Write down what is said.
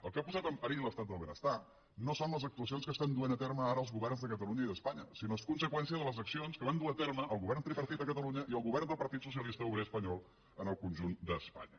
el que ha posat en perill l’estat del benestar no són les actuacions que duen a terme ara els governs de catalunya i d’espanya sinó que és conseqüència de les accions que van dur a terme el govern tripartit a catalunya i el govern del partit socialista obrer espanyol en el conjunt d’espanya